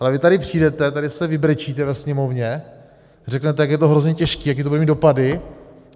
- Ale vy tady přijdete, tady se vybrečíte ve sněmovně, řeknete, jak je to hrozně těžký, jaké to bude mít dopady.